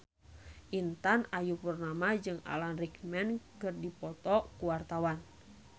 Intan Ayu Purnama jeung Alan Rickman keur dipoto ku wartawan